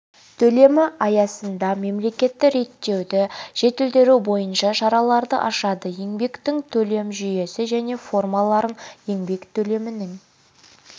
төлемі аясында мемлекетті реттеуді жетілдіру бойынша шараларды ашады еңбектің төлем жүйесі мен формаларын еңбек төлемінің